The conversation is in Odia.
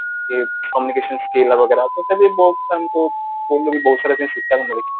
କି communication skill ବଗେରା ତଥାବି ବହୁତ ତାଙ୍କୁ ଏମିତି ବହୁତ ସାରା କିଛି ଶିଖିବାକୁ ମିଳୁଛି